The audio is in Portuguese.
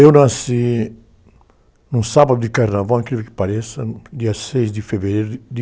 Eu nasci num sábado de carnaval, incrível que pareça, dia seis de fevereiro